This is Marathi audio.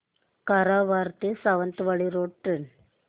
कारवार ते सावंतवाडी रोड ट्रेन